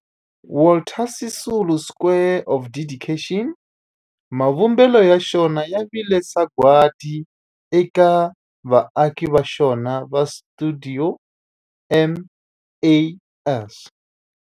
Walter Sisulu Square of Dedication, mavumbelo ya xona ya vile sagwadi eka vaaki va xona va stuidio MAS.